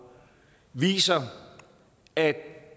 viser at